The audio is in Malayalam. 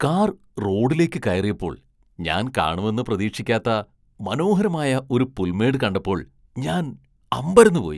കാർ റോഡിലേക്ക് കയറിയപ്പോൾ ഞാൻ കാണുമെന്ന് പ്രതീക്ഷിക്കാത്ത മനോഹരമായ ഒരു പുൽമേട് കണ്ടപ്പോൾ ഞാൻ അമ്പരന്നു പോയി .